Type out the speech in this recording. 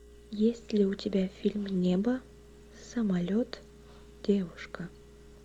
есть ли у тебя фильм небо самолет девушка